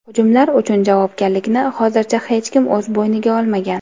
Hujumlar uchun javobgarlikni hozircha hech kim o‘z bo‘yniga olmagan.